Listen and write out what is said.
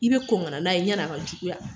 I bɛ kɔn ka na n'a ye, yani a ka juguya